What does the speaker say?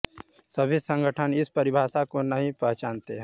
सभी संगठन इस परिभाषा को नहीं पहचानते हैं